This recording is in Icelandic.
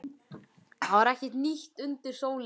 Það var ekkert nýtt undir sólinni.